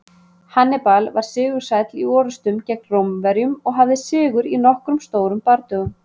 Hannibal var sigursæll í orrustum gegn Rómverjum og hafði sigur í nokkrum stórum bardögum.